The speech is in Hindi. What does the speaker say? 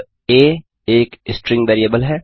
अब आ एक स्ट्रिंग वेरिएबल है